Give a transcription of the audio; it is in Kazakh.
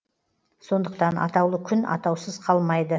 сондықтан атаулы күн атаусыз қалмайды